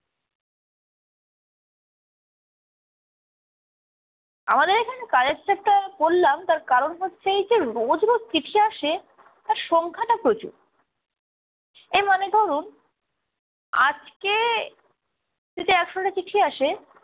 আমাদের এখানে কাজের চাপটা বললাম তার কারণ হচ্ছে এই যে রোজ রোজ চিঠি আসে, তার সংখ্যাটা প্রচুর। এই মানে ধরুন আজকে যদি একশোটা চিঠি আসে